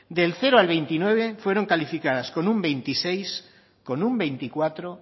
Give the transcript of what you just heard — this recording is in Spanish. del cero al veintinueve fueron calificadas con un veintiséis con un veinticuatro